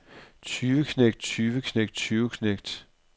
tyveknægt tyveknægt tyveknægt